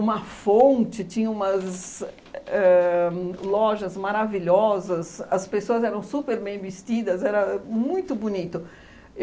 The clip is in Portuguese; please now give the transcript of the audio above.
uma fonte, tinha umas éh lojas maravilhosas, as pessoas eram super bem vestidas, era muito bonito.